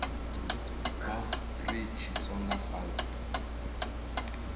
gov pri xitsonga fal p